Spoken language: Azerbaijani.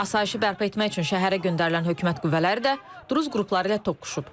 Asayişi bərpa etmək üçün şəhərə göndərilən hökumət qüvvələri də druz qrupları ilə toqquşub.